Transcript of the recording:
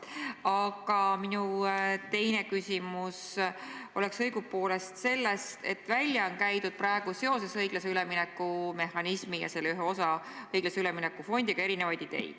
Aga minu teine küsimus on õigupoolest selle kohta, et praegu on seoses õiglase ülemineku mehhanismi ja selle ühe osa, õiglase ülemineku fondiga välja käidud erinevaid ideid.